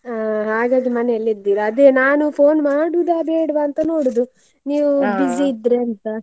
ಹಾ ಹಾಗಾದ್ರೆ ಮನೇಲೆ ಇದ್ದೀರಾ? ಅದೇ ನಾನು phone ಮಾಡೋದ ಬೇಡ್ವ ಅಂತ ನೋಡೋದು ನೀವು ಇದ್ರೆ ಅಂತ.